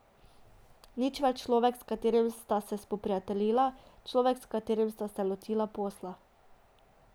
Nič več človek, s katerim sta se spoprijateljila, človek, s katerim sta se lotila posla.